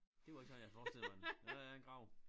Det var ikke sådan jeg havde forestillet mig den men der er en grav